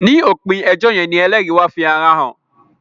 ni opin ejó yén ní ẹlẹri wá fí àrà hàn